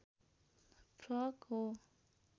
frock हो